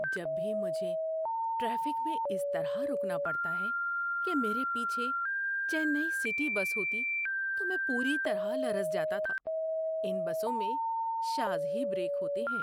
جب بھی مجھے ٹریفک میں اس طرح رکنا پڑتا کہ میرے پیچھے چنئی سٹی بس ہوتی تو میں پوری طرح لرز جاتا تھا۔ ان بسوں میں شاذ ہی بریک ہوتے ہیں۔